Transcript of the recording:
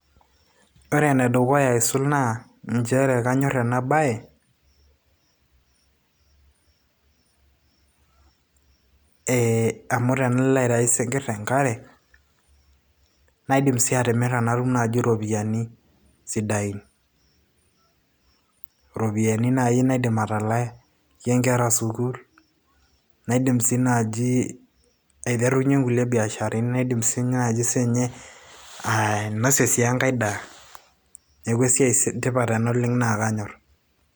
ore enedukuya aisul naa inchere kanyorr ena bayeee amu tenalo aitayu isinkirr tenkare naidim sii atimira natum naaji iropiyiani sidain iropiyiani naaji naidim atalakie inkera sukuul naidim sii naaji aiterunyie inkulie biasharani naidim siinye naaji siinye ainosie sii enkay daa neeku esiai etipat oleng ena naa kanyorr.